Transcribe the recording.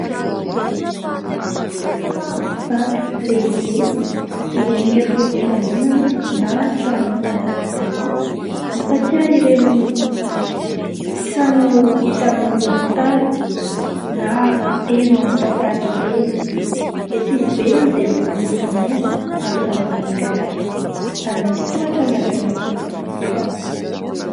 Tranovato lehibe miendrika toy ny fiangonana na tranon'ny mpanjaka taloha. Mampatsiahy ireny trano hita amin'ny horonantsary na heno amin'ny tantara ireny. Ety ivelany dia misy bozaka maina ary zava-maniry hafa ary misy tohatra miakatra eo amin'ny varavarana.